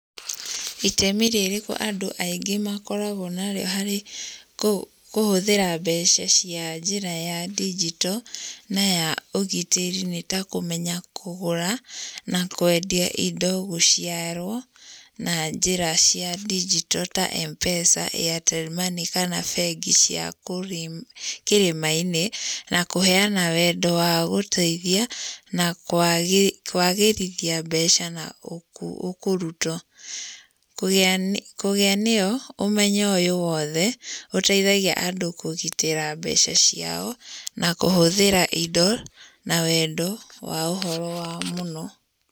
Itemi rĩrĩkũ andũ aingĩ makoragwo narĩo harĩ kũhũthĩra mbeca cia njĩra ya digito na ya ũgitĩri nĩ ta kũmenya kũgũra na kwendia indo gũciarwo na njĩra cia digito ta Mpesa, Airtel Money kana bengi cia kĩrĩma-inĩ na kũheana wendo wa wa gũteithia na kwagĩrithia mbeca na ũkũruto kũgĩa kũgĩa nĩyo ũmenyo ũyũ wothe ũteithagia andũ kũgitĩra mbeca ciao na kũhũthĩra indo na wendo wa ũhoro wao mũno.